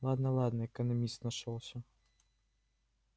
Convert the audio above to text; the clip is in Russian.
ладно ладно экономист нашёлся